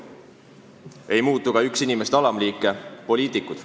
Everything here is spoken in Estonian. Ei muutu ka üks liik inimesi – poliitikud.